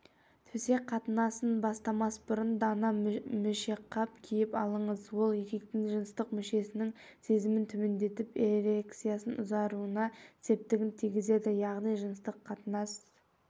төсек қатынасын бастамас бұрын дана мүшеқап киіп алыңыз ол еркектің жыныстық мүшесінің сезімін төмендетіп эрекцияның ұзаруына септігін тигізеді яғни жыныстық қатынас